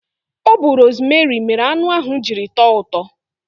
Ọ bu rosmeri mere anụ ahụ jiri tọọ ụtọ